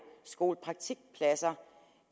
skolepraktikpladser